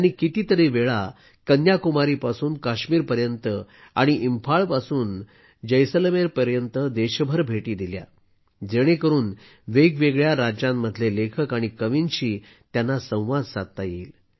त्यांनी कितीतरी वेळा कन्याकुमारीपासून काश्मीर पर्यंत आणि इंफाळपासून जैसलमेर पर्यंत देशभर भेटी दिल्या आहेत जेणेकरून वेगवेगळ्या राज्यांमधले लेखक आणि कवींशी त्यांना संवाद साधता येईल